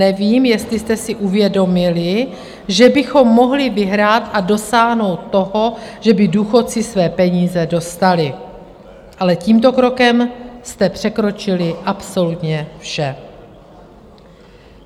Nevím, jestli jste si uvědomili, že bychom mohli vyhrát a dosáhnout toho, že by důchodci své peníze dostali, ale tímto krokem jste překročili absolutně vše.